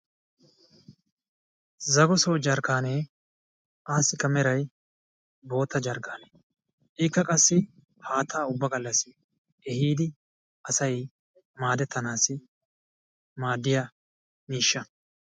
Zagooso jarkkanee asikka meray bootta jarkaane ikka qassi haattaa ubba gallasi ehiidi asay maaddetanas maaddiya mishsha.